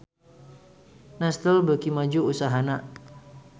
Nestle beuki maju usahana